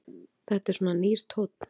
Þetta er svona nýr tónn.